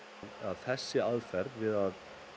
þessi aðferð við að